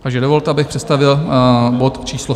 Takže dovolte, abych představil bod číslo